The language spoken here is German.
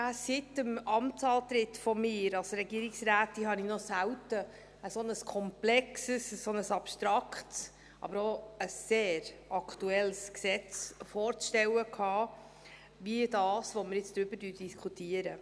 Seit meinem Amtsantritt als Regierungsrätin hatte ich noch selten ein so komplexes und so abstraktes, aber auch ein sehr aktuelles Gesetz vorzustellen wie dasjenige, über das wir jetzt diskutieren.